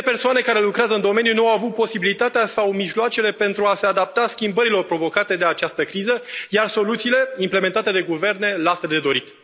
Mii de persoane care lucrează în domeniu nu au avut posibilitatea sau mijloacele pentru a se adapta schimbărilor provocate de această criză, iar soluțiile implementate de guverne lasă de dorit.